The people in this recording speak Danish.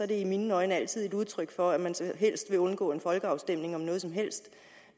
det i mine øjne altid et udtryk for at man helst vil undgå en folkeafstemning om noget som helst